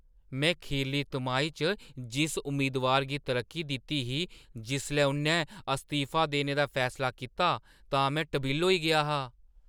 में खीरली तिमाही च जिस उम्मीदवार गी तरक्की दित्ती ही, जिसलै उ'न्नै अस्तीफा देने दा फैसला कीता तां में टबिल्ल होई गेआ हा।